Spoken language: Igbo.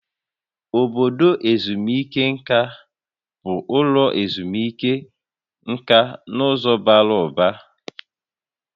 Obodo ezumike nka bụ ụlọ ezumike nka n'ụzọ bara ụba